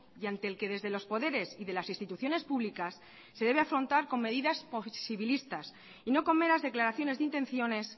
y ante el que desde los poderes y de las instituciones públicas se debe afrontar con medidas posibilistas y no con meras declaraciones de intenciones